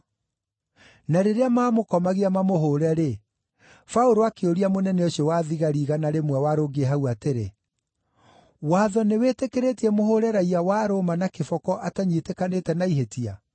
Na rĩrĩa maamũkomagia mamũhũũre-rĩ, Paũlũ akĩũria mũnene ũcio wa thigari igana rĩmwe warũngiĩ hau atĩrĩ, “Watho nĩwĩtĩkĩrĩtie mũhũũre raiya wa Roma na kĩboko atanyiitĩkanĩte na ihĩtia?”